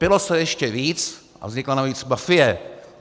Pilo se ještě víc a vznikla navíc mafie.